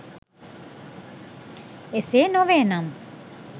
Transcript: ඒසේ නොවේ නම්